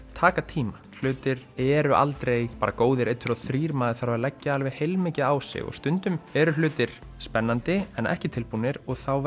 taka tíma hlutir eru aldrei bara góðir einn tveir og þrír maður þarf að leggja alveg heilmikið á sig og stundum eru hlutir spennandi en ekki alveg tilbúnir og þá